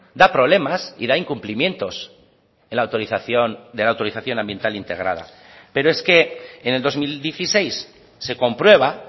da problemas y da incumplimientos en la autorización de la autorización ambiental integrada pero es que en el dos mil dieciséis se comprueba